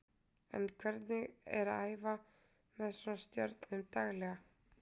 En hvernig er að æfa með svona stjörnum daglega?